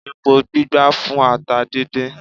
Epo gbígbá fún ata díndín